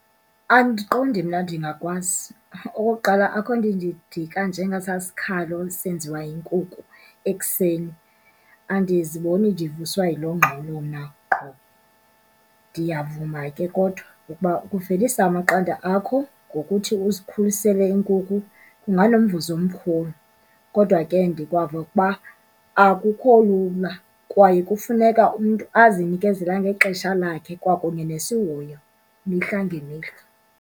Andiqondi mna ndingakwazi. Okokuqala, akukho nto indidika njengesaa sikhalo senziwa yinkuku ekuseni, andiziboni ndivuswa yiloo ngxolo mna qho. Ndiyavuma ke, kodwa ukuba ukuvelisa amaqanda akho ngokuthi uzikhulisele iinkukhu kunganomvuzo omkhulu. Kodwa ke, ndikwava ukuba akukho lula kwaye kufuneka umntu azinikezela ngexesha lakhe kwakunye nesihoyo mihla ngemihla.